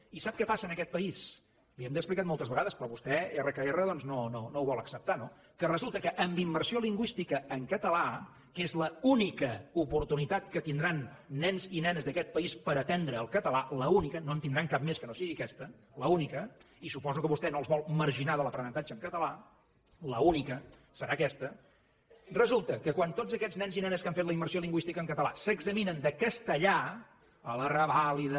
i sap què passa en aquest país li ho hem explicat moltes vegades però vostè erra que erra doncs no ho vol acceptar no que resulta que en immersió lingüística en català que és l’única oportunitat que tindran nens i nenes d’aquest país per aprendre el català l’única no en tindran cap més que no sigui aquesta l’única i suposo que vostè no els vol marginar de l’aprenentatge en català l’única serà aquesta resulta que quan tots aquests nens i nenes que han fet la immersió lingüística en català s’examinen de castellà a la revàlida